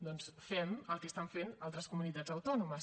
doncs fem el que estan fent altres comunitats autònomes